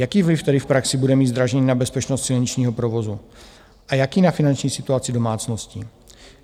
Jaký vliv tedy v praxi bude mít zdražení na bezpečnost silničního provozu a jaký na finanční situaci domácností?